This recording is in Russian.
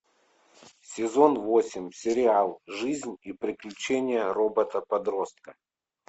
сезон восемь сериал жизнь и приключения робота подростка